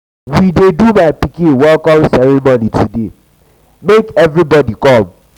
we dey do my pikin welcome ceremony today make everybody come.